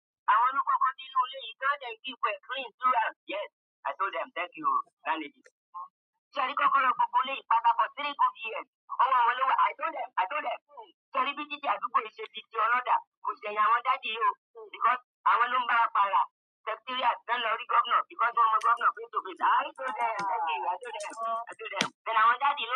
Àwọn ló kọ́kọ́ dé inú ilé, when there is difference, please. Yes! I told them. Thank you landlady. Ṣé ẹ rí kọ́kọ́rọ́ gbogbo ilé pátápátá for three good years. Ówọ̀ wọ́n lówó. I told them, i told them. Ṣé ẹ rí bí títi àdúgbò ṣe di tí ọlọ́dà, kò ṣẹ̀yin àwọn daddy yìí o. Because àwọn ló ń bá wa pààrà. Secretariat tó ń lọ rí governor because wọ́n mọ governor face to face. I told them. Thank you. I told them. I told them. Then àwọn daddy yìí ló.